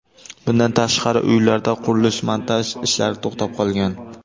Bundan tashqari, uylarda qurilish-montaj ishlari to‘xtab qolgan.